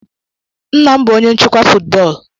Nna m bụ onye nchịkwa football.